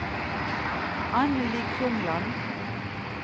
Anneli Klungland